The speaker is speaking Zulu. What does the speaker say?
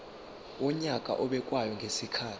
wonyaka obekwayo ngezikhathi